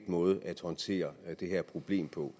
måde at håndtere det her problem på